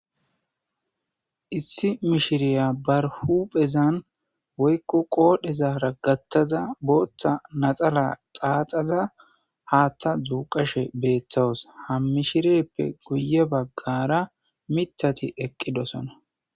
issi mishiriya barhuphezan woykko qoodhezara gattaza booththa naxala xaaxaza haattha duuqashe beettawus ha mishirippe guye baggara mitati eqqidosona